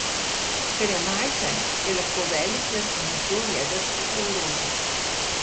Ker je majhen, je lahko velik le s pomočjo jedrskega orožja.